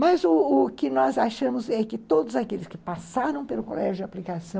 Mas o o que nós achamos é que todos aqueles que passaram pelo colégio de aplicação